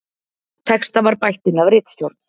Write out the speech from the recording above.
Texta var bætt inn af ritstjórn